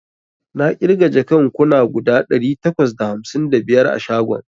Na ƙirga jakan kuna guda ɗari takwas da hamsin da biyar a shagon